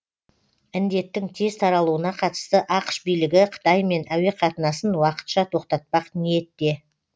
індеттің тез таралуына қатысты ақш билігі қытаймен әуеқатынасын уақытша тоқтатпақ ниетте